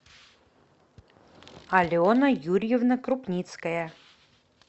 алена юрьевна крупницкая